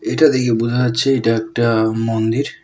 এটা দেখে বোঝা যাচ্ছে এটা একটা মন্দির।